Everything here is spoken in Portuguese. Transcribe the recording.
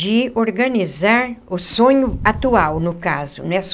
De organizar o sonho atual, no caso, né?